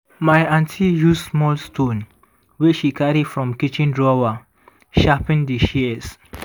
my aunty use small stone wey she carry from kitchen drawer sharpen di shears.